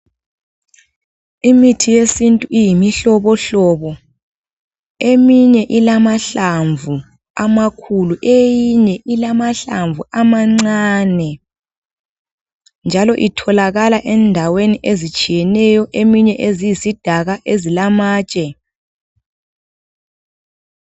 Imithi yesintu iyimihlobohlobo. Eminye ilamahlamvu amakhulu. Eyinye ilamahlamvu amancane. Njalo itholakala endaweni ezitshiyeneyo. Eminye eziyisidaka ezilamatshe.